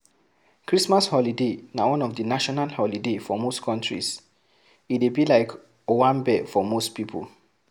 Christmas holiday na one of di national holiday for most countries e dey be like owanbe for most pipo